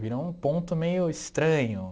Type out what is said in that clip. Virou um ponto meio estranho.